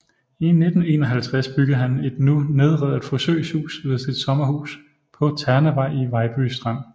I 1951 byggede han et nu nedrevet forsøgshus ved sit sommerhus på Ternevej i Vejby Strand